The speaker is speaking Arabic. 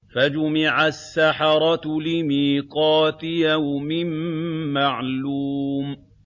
فَجُمِعَ السَّحَرَةُ لِمِيقَاتِ يَوْمٍ مَّعْلُومٍ